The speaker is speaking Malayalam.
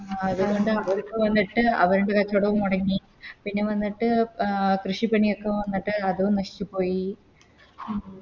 അതോണ്ട് അവർക്ക് വന്നിട്ട് അവരിൻറെ കച്ചോടോം മൊടങ്ങി പിന്നെ വന്നിട്ട് കൃഷിപ്പണിയൊക്കെ വന്നിട്ട് അതും നശിച്ച് പോയി